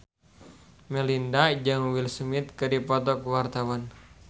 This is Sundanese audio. Melinda jeung Will Smith keur dipoto ku wartawan